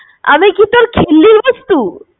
আমি কি তোর খিল্লির বস্তু?